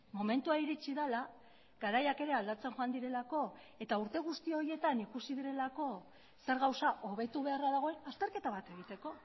momentua iritsi dela garaiak ere aldatzen joan direlako eta urte guzti horietan ikusi direlako zer gauza hobetu beharra dagoen azterketa bat egiteko